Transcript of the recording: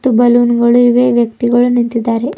Balloon ಗಳು ಇವೆ ವ್ಯಕ್ತಿಗಳು ನಿಂತಿದ್ದಾರೆ.